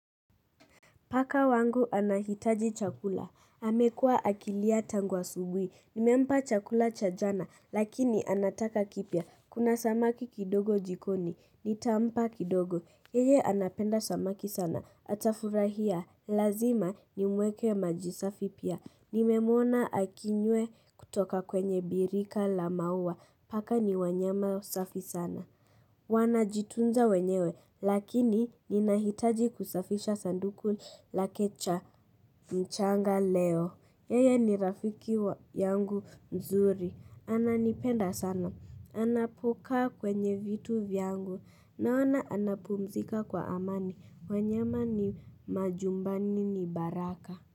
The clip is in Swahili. Paka wangu anahitaji chakula. Amekua akilia tangu asubui. Nimempa chakula cha jana, lakini anataka kipya. Kuna samaki kidogo jikoni. Nitampa kidogo. Yeye anapenda samaki sana. Atafurahia. Lazima ni mweke majisafipia. Nimemwona akinywe kutoka kwenye birika la maua. Paka ni wanyama safi sana. Wanajitunza wenyewe lakini ninahitaji kusafisha sanduku lakecha mchanga leo. Yeye ni rafiki yangu mzuri. Ananipenda sana. Anapokaa kwenye vitu vyangu. Naona anapumzika kwa amani. Wanyama ni majumbani ni baraka.